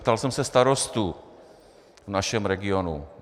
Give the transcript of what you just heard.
Ptal jsem se starostů v našem regionu.